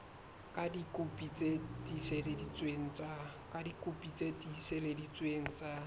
ka dikopi tse tiiseleditsweng tsa